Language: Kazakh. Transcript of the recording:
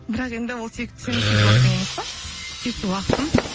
бірақ енді ол сенің сүйікті уақытың емес пе сүйікті уақытым